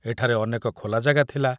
ଏଠାରେ ଅନେକ ଖୋଲା ଜାଗା ଥିଲା।